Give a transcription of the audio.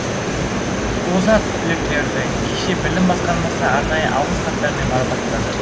озат түлектерді кеше білім басқармасы арнайы алғыс хаттармен марапаттады